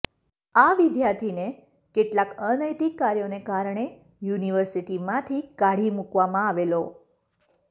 આ વિદ્યાર્થીને કેટલાક અનૈતિક કાર્યોને કારણે યુનિવર્સિટીમાંથી કાઢી મૂકવામાં આવેલ